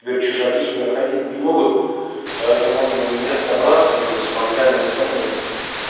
теперь чужаки сюда ходить не могут поэтому можно у меня собраться здесь мангальная зона есть